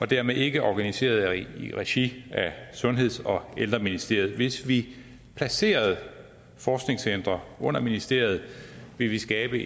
dermed ikke organiseret i regi af sundheds og ældreministeriet hvis vi placerede forskningscentre under ministeriet ville vi skabe